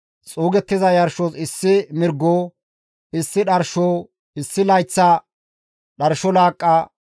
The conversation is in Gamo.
Xuugettiza yarshos issi mirgo, issi dharsho, issi layththa dharsho laaqqa,